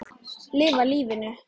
Lifa lífinu!